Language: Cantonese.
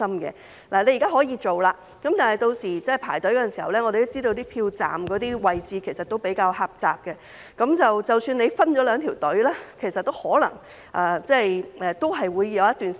現時可以這樣做，但我們也知道，有些投票站的位置比較狹窄，屆時即使分了兩條隊伍，也可能要輪候一段時間。